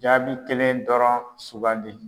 Jaabi kelen dɔrɔn sugandi.